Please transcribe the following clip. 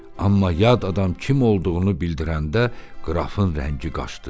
Amma yad adam kim olduğunu bildirəndə qrafın rəngi qaşdı.